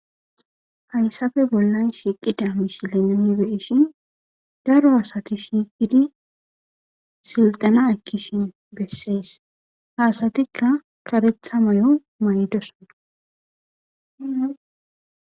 hayssafe bollan shiiqida misilenanibeeshin daro asati shiiqidi silxana akkishin bessees haasatikka karetha mayo maydoson